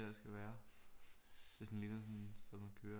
Her skal være det sådan ligner sådan som at køre